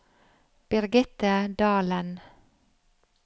Birgitte Dahlen